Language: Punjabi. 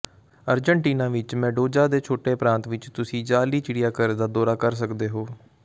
ਅਰਜਨਟੀਨਾ ਵਿੱਚ ਮੇਂਡੋਜਾ ਦੇ ਛੋਟੇ ਪ੍ਰਾਂਤ ਵਿੱਚ ਤੁਸੀਂ ਜਾਅਲੀ ਚਿੜੀਆਘਰ ਦਾ ਦੌਰਾ ਕਰ ਸਕਦੇ ਹੋ